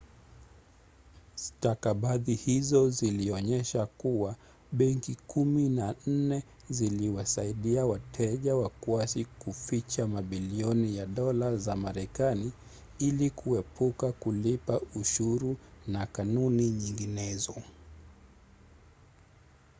stakabadhi hizo zilionyesha kuwa benki kumi na nne ziliwasaidia wateja wakwasi kuficha mabilioni ya dola za marekanai ili kuepuka kulipa ushuru na kanuni nyinginezo